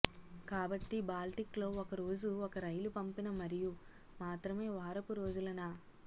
కాబట్టి బాల్టిక్ లో ఒక రోజు ఒక రైలు పంపిన మరియు మాత్రమే వారపు రోజులు న